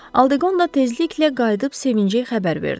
Aldeqonda tezliklə qayıdıb sevincli xəbər verdi.